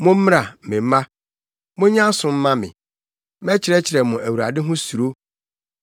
Mommra, me mma, monyɛ aso mma me; mɛkyerɛkyerɛ mo Awurade ho suro.